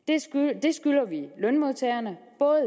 skylder vi lønmodtagerne både